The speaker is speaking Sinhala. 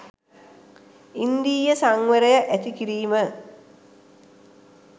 ඉන්ද්‍රිය සංවරය ඇති කිරීම